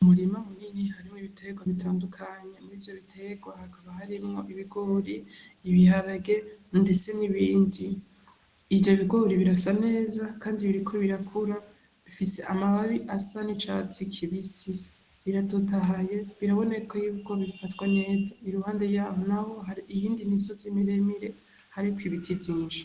Umurima munini harimwo ibiterwa bitandukanye. Muri ivyo biterwa hakaba harimwo ibigori, ibiharage ndetse n'ibindi. Ivyo bigori birasa neza kandi biriko birakura, bifise amababi asa n'icatsi kibisi. Biratotahaye, biraboneka y'uko bifatwa neza. Iruhande y'aho naho hari iyindi imisozi miremire hariko ibiti vyinshi.